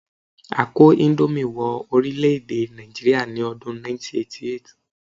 A kó índómì wọ orílè-èdè Nàìjíríà ní ọdún 1988